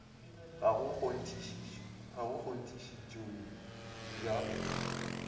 ga go na kgonthišetšo ya